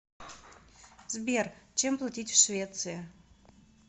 сбер чем платить в швеции